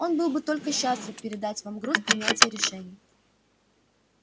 он был бы только счастлив передать вам груз принятия решений